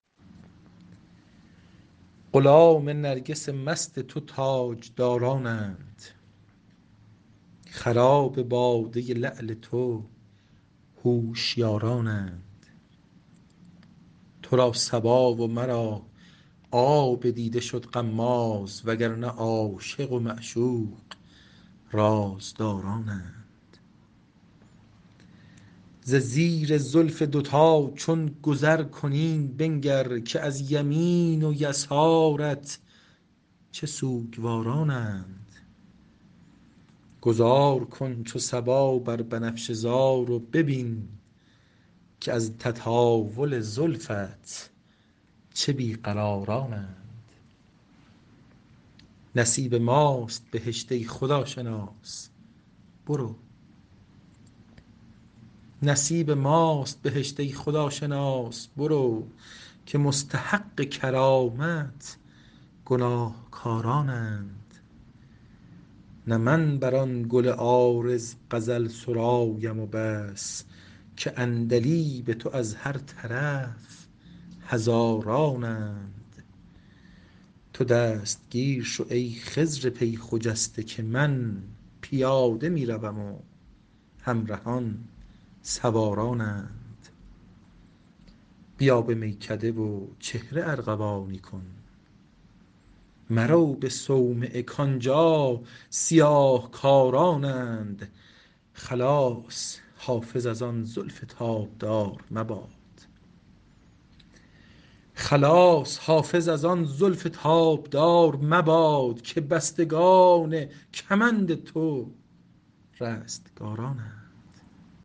غلام نرگس مست تو تاجدارانند خراب باده لعل تو هوشیارانند تو را صبا و مرا آب دیده شد غماز و گر نه عاشق و معشوق رازدارانند ز زیر زلف دوتا چون گذر کنی بنگر که از یمین و یسارت چه سوگوارانند گذار کن چو صبا بر بنفشه زار و ببین که از تطاول زلفت چه بی قرارانند نصیب ماست بهشت ای خداشناس برو که مستحق کرامت گناهکارانند نه من بر آن گل عارض غزل سرایم و بس که عندلیب تو از هر طرف هزارانند تو دستگیر شو ای خضر پی خجسته که من پیاده می روم و همرهان سوارانند بیا به میکده و چهره ارغوانی کن مرو به صومعه کآنجا سیاه کارانند خلاص حافظ از آن زلف تابدار مباد که بستگان کمند تو رستگارانند